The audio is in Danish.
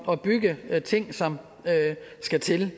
at bygge de ting som skal til